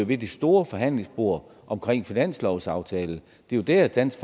ved det store forhandlingsbord omkring finanslovsaftalen det er jo der at dansk